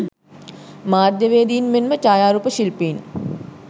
මාධ්‍යවේදීන් මෙන්ම ඡායාරූප ශිල්පීන්